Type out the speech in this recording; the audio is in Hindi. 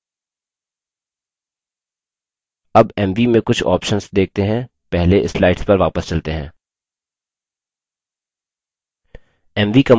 अब mv में कुछ options देखते हैं पहले slides पर वापस चलते हैं